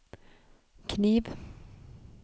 kniv